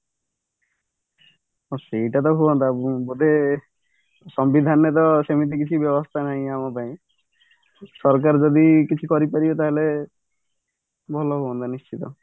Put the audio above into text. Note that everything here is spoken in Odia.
ହଁ ସେଇଟା ତ ହୁଅନ୍ତା ବୋଧେ ସମ୍ବିଧାନର ସେମିତି କିଛି ବ୍ୟବସ୍ତା ନାହିଁ ଆମ ପାଇଁ ସରକାର ଯଦି କିଛି କରି ପାରିବେ ତାହାଲେ ଭଲ ହୁଅନ୍ତା ନିଶ୍ଚିନ୍ତ